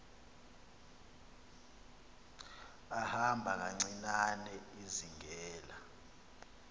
ihamba kancinane izingela